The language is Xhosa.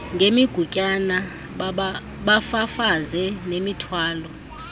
ngemigutyana bafafaze nemithwalo